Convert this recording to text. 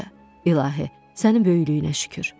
İlahi, sənin böyüklüyünə şükür.